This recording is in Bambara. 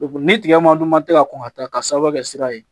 ni tigɛ ma dun man tɛ ka kɔn ka taa ka sababu kɛ sira ye